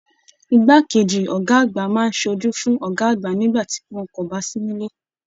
Ìgbà keji ọgá àgbà máa n sójú fún ọgá àgbà nígbà tí wọn kò bá sì nilé.